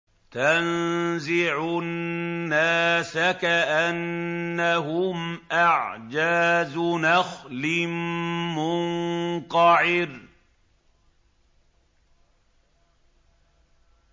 تَنزِعُ النَّاسَ كَأَنَّهُمْ أَعْجَازُ نَخْلٍ مُّنقَعِرٍ